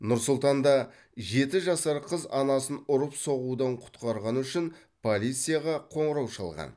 нұр сұлтанда жеті жасар қыз анасын ұрып соғудан құтқарғаны үшін полицияға қоңырау шалған